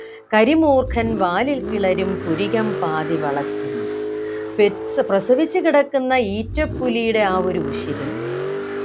കരിമൂർഖൻ വാലിൽ കിളരും പുരികം പാതി വളച്ചും പെറ്റ് പ്രസവിച്ചു കിടക്കുന്ന ഈറ്റപ്പുലിയുടെ ആ ഒരു ഉശിരും